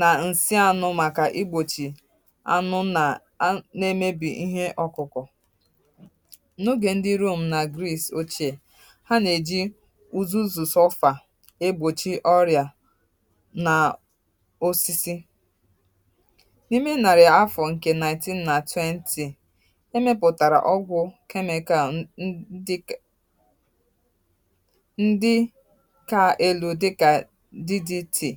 nà ǹsị anụ màkà igbochi anụ nà na-emebì ihe ọkụkụ n’ogè ndị rom na greece ochie ha nà-èji zuzo zòforo igbochi ọrịà nà osisi n’ime nàrị̀à afọ̀ ǹkè 1920 ndị kà elu̇ dịkà di di tì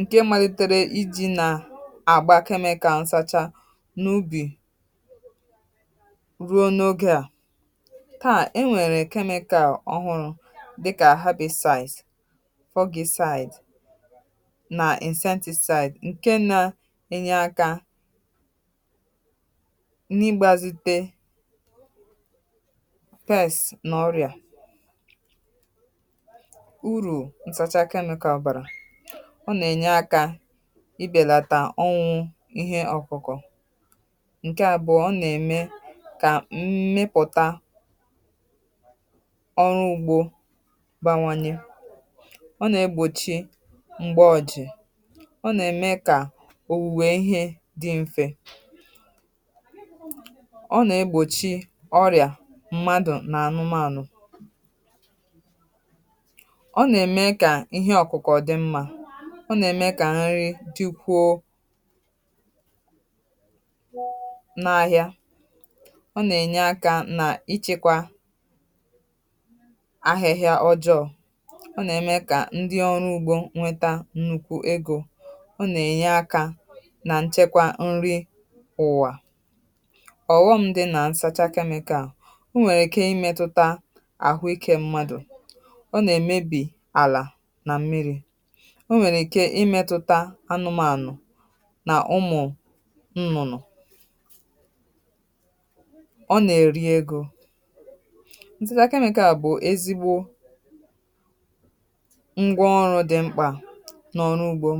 ǹkè mmadụ̀tara iji̇ na-àgba chemical ǹsacha n’ubì ruo n’ogè a kàà enwèrè chemical ọhụrụ̇ dịkà herbicide dịsides nà insecticide ǹkè na-enye akȧ um test n’ọrịa urù ntàchaa chemical bara ọ nà-ènye akȧ ị bèlàtà ọnwụ̇ ihe ọ̀kụkọ̀ ǹkè a bụ̀ ọ nà-ème kà mmịpụ̀ta ọrụ ugbȯ bawanye ọ nà-egbòchi m̀gbè ọjị̀ ọ nà-ème kà owuwe ihe dị mfe n’anụmanụ̀ ọ na-eme ka ihe ọkụkọ̀ dị mmà ọ na-eme ka nri dị ukwuu na ahịà ọ na-enye akà n’ịchịkwà ahịhịà ọjọọ̀ ọ na-eme ka ndị ọrụ ugbȯ nwetà nnukwu egȯ ọ na-enye akà na nchekwà nri ụwà ǹdewo nà ọ nà-èmepụ̀ta n’ìmili nà ọ nà-èmepụ̀ta n’ìmili nà ọ nà-èmepụ̀ta n’ùmàǹisì ànụ̀mà nà ọ nà-èrì egȯ ǹtụtà chemical bụ̀ ezigbo ngwa ọrụ̇ dị mkpà n’ọrụ ugbȯ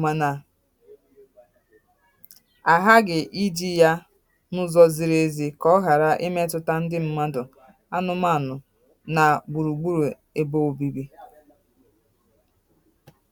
mànà nà gbùrùgbùrù ebe obibi